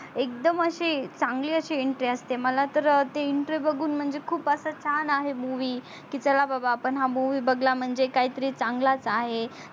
एकदम असि चांगली असि entry असते मला तर ते entry बगुण म्हणजे की खूप अस छान आहे movie की चला बाबा आपण हा movie बगला म्हणजे काही तरी चांगलाच आहे.